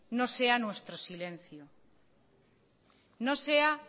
no sea nuestro silencio no sea